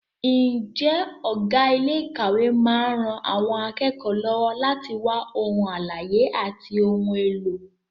Ǹjẹ́ ọ̀gá ilé ìkàwé máa ń ran àwọn akẹ́kọ̀ọ́ lọ́wọ́ láti wá ohun àlàyé àti ohun èlò?